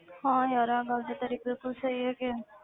ਹਾਂ ਯਾਰ ਆਹ ਗੱਲ ਤਾਂ ਤੇਰੀ ਬਿਲਕੁਲ ਸਹੀ ਹੈਗੀ ਹੈ